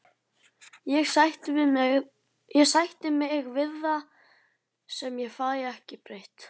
Ég sætti mig við það sem ég fæ ekki breytt.